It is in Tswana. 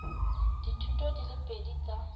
dithuto di le pedi tsa